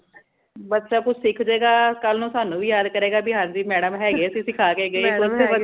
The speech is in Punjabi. ਬੱਚਾ ਕੁਝ ਸਿੱਖ ਜੇਗਾ ਕਲ ਨੂ ਸਾਨੂ ਵੀ ਯਾਦ ਕਰੇਗਾ ਭੀ ਹਾਂਜੀ madam ਹੈਗੇ ਸੀ ਸਿੱਖਾਂ ਕੇ ਗਏ